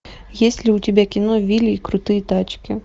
есть ли у тебя кино вилли и крутые тачки